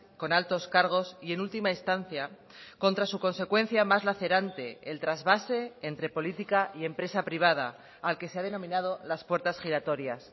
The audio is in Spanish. con altos cargos y en última instancia contra su consecuencia más lacerante el trasvase entre política y empresa privada al que se ha denominado las puertas giratorias